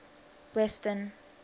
western